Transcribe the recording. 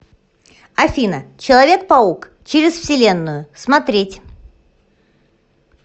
афина человек паук через вселенную смотреть